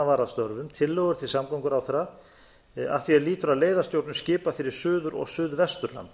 var að störfum tillögur til samgönguráðherra að því er lýtur að leiðastjórnun skipa fyrir suður og